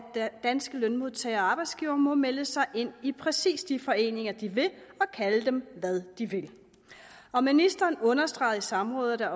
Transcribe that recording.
danske lønmodtagere og arbejdsgivere må melde sig ind i præcis de foreninger de vil og kalde dem hvad de vil og ministeren understregede i samrådet at